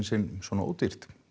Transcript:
sinn svona ódýrt